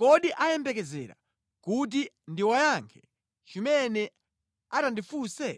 Kodi ayembekezera kuti ndiwayankhe chimene atandifunse?